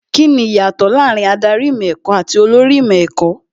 Kíni ìyàtọ̀ láàárín Ádárì ìmọ̀ ẹ̀kọ́ àti olórí ìmọ̀ ẹ̀kọ́?